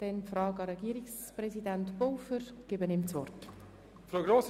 Ich erteile Regierungspräsident Pulver das Wort.